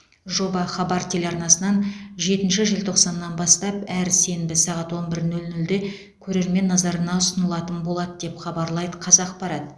жоба хабар телеарнасынан жетінші желтоқсаннан бастап әр сенбі сағат он бір нөл нөлде көрермен назарына ұсынылатын болады деп хабарлайды қазақпарат